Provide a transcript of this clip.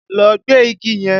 Lọ gbẹ́ igi yẹn!